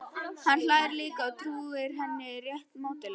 Hann hlær líka, trúir henni rétt mátulega.